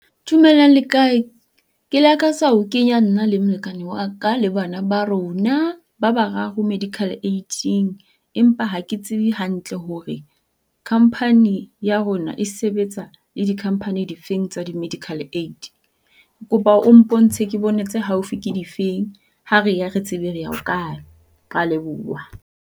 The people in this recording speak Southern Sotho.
Dumelang le kae? Ke lakatsa ho kenya nna le molekane wa ka le bana ba rona ba bararo medical aid-ing. Empa ha ke tsebe hantle hore company ya rona e sebetsa le di-company di feng tsa di-medical aid. Ke kopa o mpontshe ke bone tse haufi ke di feng, ha re ya re tsebe re ya ho kae. Rea leboha.